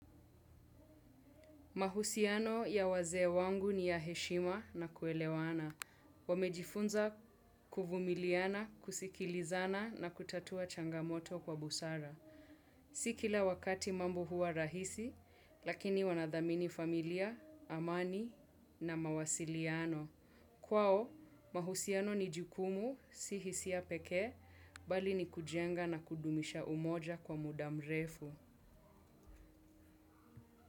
Mahusiano ya wazee wangu ni ya heshima na kuelewana. Wamejifunza kuvumiliana, kusikilizana na kutatua changamoto kwa busara. Si kila wakati mambo huwa rahisi, lakini wanadhamini familia, amani na mawasiliano. Kwao, mahusiano ni jikumu, si hisia pekee, bali ni kujenga na kudumisha umoja kwa muda mrefu.